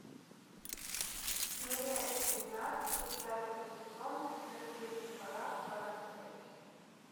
серия двенадцать пятого сезона смертельный парад парад смерти